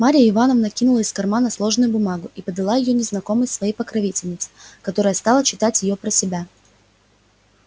марья ивановна кинула из кармана сложенную бумагу и подала её незнакомой своей покровительнице которая стала читать её про себя